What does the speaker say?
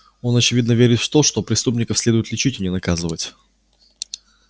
он очевидно верит в то что преступников следует лечить а не наказывать